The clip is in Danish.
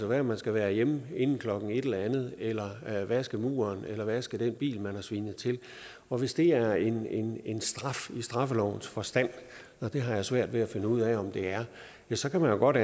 være at man skal være hjemme inden klokken et eller andet eller vaske muren eller vaske den bil man har svinet til og hvis det er en en straf i straffelovens forstand og det har jeg svært ved at finde ud af om det er så kan man jo godt